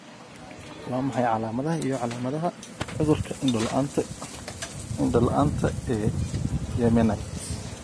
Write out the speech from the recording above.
Waa maxay calamadaha iyo calaamadaha cudurka indho la'aanta indho la'aanta ee Yemenite?